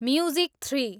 music three